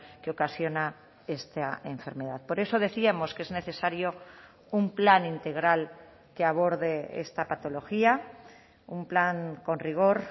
que ocasiona esta enfermedad por eso decíamos que es necesario un plan integral que aborde esta patología un plan con rigor